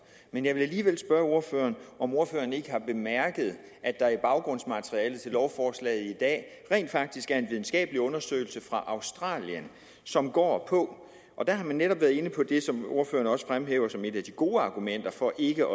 men jeg vil alligevel spørge ordføreren om ordføreren ikke har bemærket at der i baggrundsmaterialet til lovforslaget i dag rent faktisk er en videnskabelig undersøgelse fra australien som går på der har man netop været inde på det som ordføreren også fremhæver som et af de gode argumenter for ikke